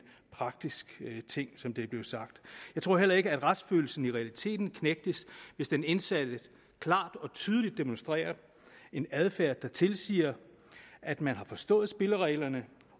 praktisk ting som det er blevet sagt jeg tror heller ikke at retsfølelsen i realiteten krænkes hvis den indsatte klart og tydeligt demonstrerer en adfærd der tilsiger at man har forstået spillereglerne